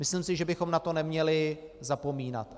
Myslím si, že bychom na to neměli zapomínat.